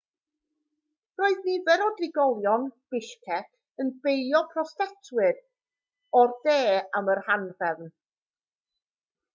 roedd nifer o drigolion bishkek yn beio protestwyr o'r de am yr anhrefn